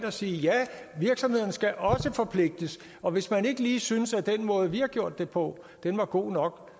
og sige ja virksomhederne skal også forpligtes og hvis man ikke lige synes at den måde vi har gjort det på var god nok